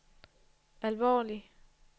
alvorlig